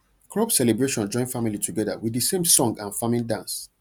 crop celebration join family together with the same song and farming dance